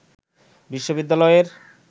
বিশ্ববিদ্যালয়ের